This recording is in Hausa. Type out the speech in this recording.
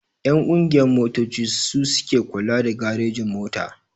Ƴan ƙungiyan motoci su suke kula da garejin-mota.